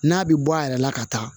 N'a bɛ bɔ a yɛrɛ la ka taa